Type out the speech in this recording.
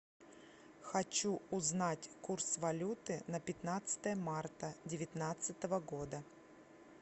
хочу узнать курс валюты на пятнадцатое марта девятнадцатого года